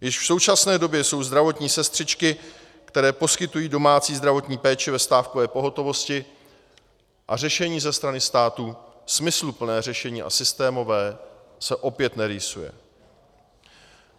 Již v současné době jsou zdravotní sestřičky, které poskytují domácí zdravotní péči, ve stávkové pohotovosti, a řešení ze strany státu, smysluplné řešení a systémové, se opět nerýsuje.